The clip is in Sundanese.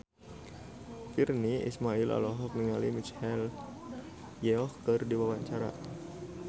Virnie Ismail olohok ningali Michelle Yeoh keur diwawancara